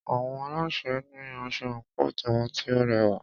Àwọn alásè ní asọ àńkò tiwọn tí o rẹwà.